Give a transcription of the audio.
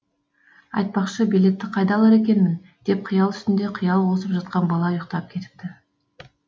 айтпақшы билетті қайдан алар екенмін деп қиял үстіне қиял қосып жатқан бала ұйықтап кетіпті